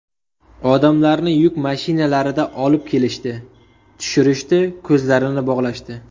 Odamlarni yuk mashinalarida olib kelishdi, tushirishdi, ko‘zlarini bog‘lashdi.